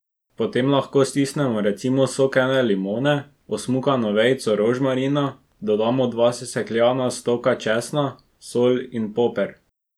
Potem lahko stisnemo recimo sok ene limone, osmukano vejico rožmarina, dodamo dva sesekljana stoka česna, sol in poper.